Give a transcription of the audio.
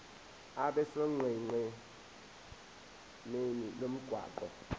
abe sonqenqemeni lomgwaqo